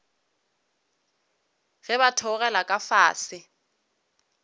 ge ba theogela ka fase